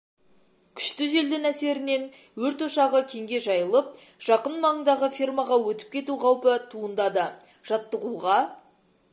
күшті желдің әсерінен өрт ошағы кеңге жайылып жақын маңдағы фермаға өтіп кету қаупі туындады жаттығуға